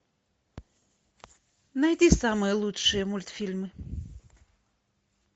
найди самые лучшие мультфильмы